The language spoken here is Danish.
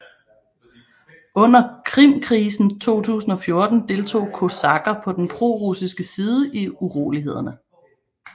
Under Krimkrisen 2014 deltog kosakker på den prorussiske side i urolighederne